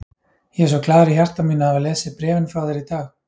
Ég er svo glaður í hjarta mínu að hafa lesið bréfin frá þér í dag.